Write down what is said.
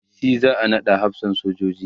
shi za'a naɗa hafsan sojoji